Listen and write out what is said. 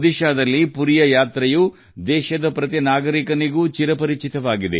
ಒಡಿಶಾದ ಪುರಿ ಯಾತ್ರೆ ನಮಗೆಲ್ಲ ಚಿರಪರಿಚಿತ